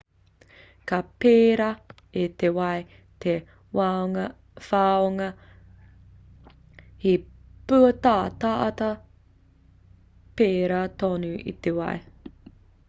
ka pērā i te wai te whanonga he pūataata pērā tonu i te wai